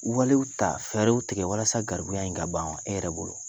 Walew ta fɛɛrɛw tigɛ walasa garibuya in ka ban wa? E yɛrɛ bolo ?